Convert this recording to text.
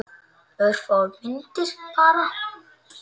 Örfáar myndir bara.